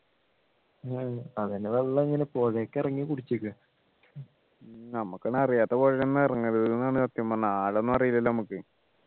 അവനു വെള്ളം ഇങ്ങനെ പുഴേക്ക് ഇറങ്ങി കുടിച്ചേക്കു ആ നമ്മക്കൊന്നും അറിയാത്ത പുഴയിൽ ഇറങ്ങരുത് ന്നു ആണ് സത്യം പറഞ്ഞാൽ ആഴൊന്നും അറിയില്ലല്ലോ നമ്മുക്ക്